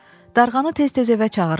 Darğanı tez-tez evə çağırırdılar.